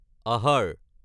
আহাৰ